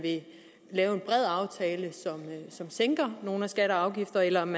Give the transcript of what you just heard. lave en bred aftale som sænker nogle skatter og afgifter eller om